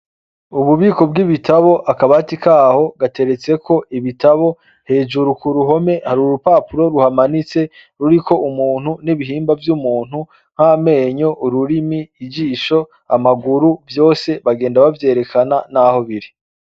Ububiko bw'ibitabo, akabati ka ho gateretseko ibitabo, hejuru ku ruhome hari urupapuro ruhamanitse ruriko umuntu n'ibihimba vy'umuntu, nk'amenyo, ururimi, ijisho, amaguru, vyose bagenda bavyerekana n'aho biri.